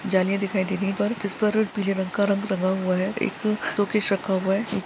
जालिया दिखाय दे रही है जिस पर पीले रंग का रंगा हुआ हैएक अ सोकेस रखा हुआ है।